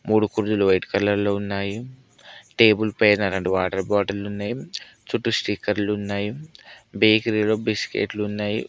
మూడు కుర్జీలు white colour లో ఉన్నాయి టేబుల్ పైన రెండు వాటర్ బాటిల్లున్నాయి చుట్టూ స్టికర్లున్నాయి బేకరీలో బిస్కెట్లున్నాయి .